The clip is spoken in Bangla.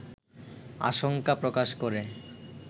আশঙ্কা প্রকাশ করে